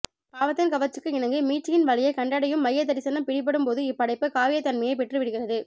பாவத்தின் கவர்ச்சிக்கு இணங்கி மீட்சியின் வழியைக் கண்டடையும் மையதரிசனம் பிடிபடும்போது இப்படைப்பு காவியத்தன்மையை பெற்றுவிடுகிறது